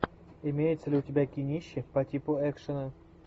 имеется ли у тебя кинище по типу экшена